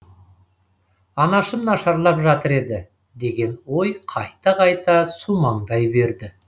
анашым нашарлап жатыр еді деген ой қайта қайта сумаңдай берді